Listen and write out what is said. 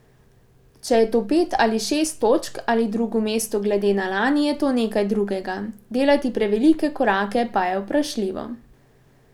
Če je to pet ali šest točk ali drugo mesto glede na lani, je to nekaj drugega, delati prevelike korake pa je vprašljivo.